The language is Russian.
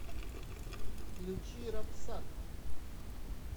включи рапсат